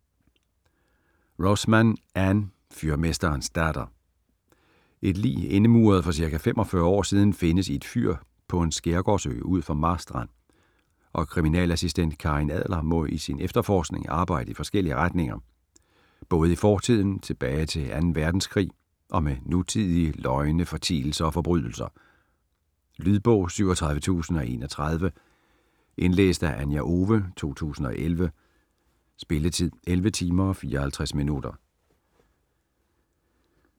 Rosman, Ann: Fyrmesterens datter Et lig indemuret for ca. 45 år siden findes i et fyr på en skærgårdsø ud for Marstrand, og kriminalassistent Karin Adler må i sin efterforskning arbejde i forskellige retninger både i fortiden tilbage til 2. verdenskrig og med nutidige løgne, fortielser og forbrydelser. Lydbog 37031 Indlæst af Anja Owe, 2011. Spilletid: 11 timer, 54 minutter.